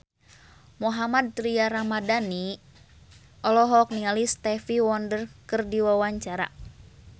Mohammad Tria Ramadhani olohok ningali Stevie Wonder keur diwawancara